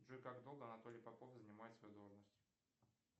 джой как долго анатолий попов занимает свою должность